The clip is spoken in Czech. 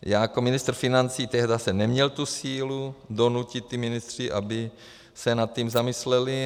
Já jako ministr financí tehdy jsem neměl tu sílu donutit ty ministry, aby se nad tím zamysleli.